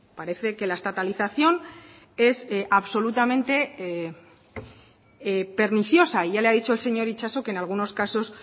parece que la estatalización es absolutamente perniciosa ya le ha dicho el señor itxaso que en algunos casos